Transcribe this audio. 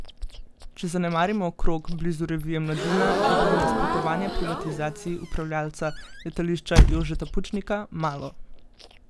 Če zanemarimo krog blizu revije Mladina, je bilo nasprotovanja privatizaciji upravljavca Letališča Jožeta Pučnika malo.